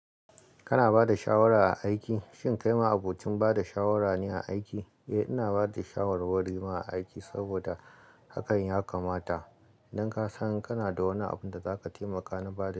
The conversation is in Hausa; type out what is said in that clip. Kana ba da shawara a aiki? Shin kai ma'abocin ba da shawara ne a aiki? Eh ina bada shawarwari ma a aiki saboda hakan ya kamata. Idan ka san kana da wani abun da zaka taimaka na bada.